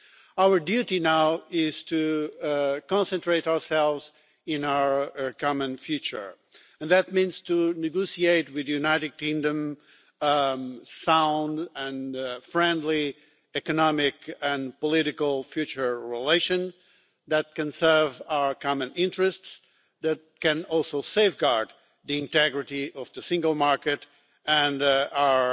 Our duty now is to concentrate on our common future, and that means to negotiate with the United Kingdom sound and friendly economic and political future relations that can serve our common interests and that can safeguard the integrity of the single market and our